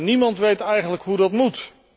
Niemand weet eigenlijk hoe dat moet.